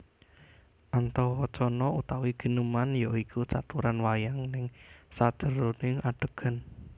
Antawacana utawi gineman ya iku caturan wayang neng sajeroning adhegan